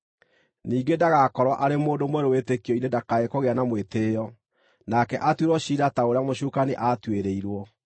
Ningĩ ndagakorwo arĩ mũndũ mwerũ wĩtĩkio-inĩ ndakae kũgĩa na mwĩtĩĩo, nake atuĩrwo ciira ta ũrĩa mũcukani aatuĩrĩirwo.